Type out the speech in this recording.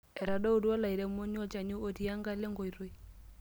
Etadotuo olairemoni olchani otii enkalo enkoitoi.